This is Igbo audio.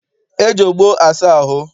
E ji ogbo asa ahụ.